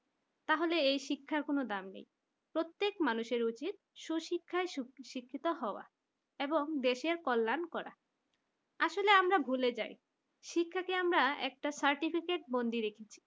তাহলে এই শিক্ষার কোন দাম নেই প্রত্যেক মানুষের উচিত সুশিক্ষায় শিক্ষিত হওয়া এবং দেশের কল্যাণ করা আসলে আমরা ভুলে যাই শিক্ষাকে আমরা একটা certificate বন্দি রেখেছি